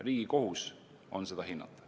Riigi kohus on seda hinnata.